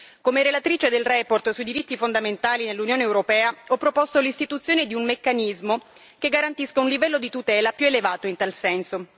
Come relatrice della relazione sui diritti fondamentali nell'Unione europea ho proposto l'istituzione di un meccanismo che garantisca un livello di tutela più elevato in tal senso.